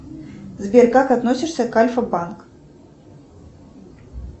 сбер как относишься к альфа банк